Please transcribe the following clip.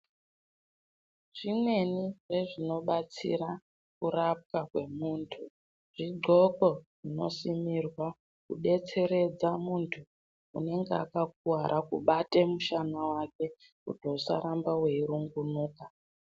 Zvimweni zve zvino batsira kurapwa kwe muntu zvi ndxoko zvino simirwa ku desteredza muntu unenge aka kuvara kubate mushana wake kuti usa ramba wei rumbunuka.